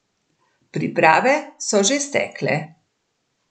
Priprave so že stekle.